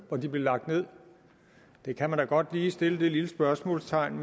hvor de blev lagt ned det kan man da godt lige sætte et lille spørgsmålstegn